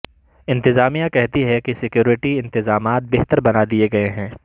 انتظامیہ کہتی ہے کہ سیکیورٹی انتظامات بہتر بنا دیے گیے ہیں